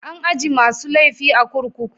An ajie masun laifi a'kurkuku.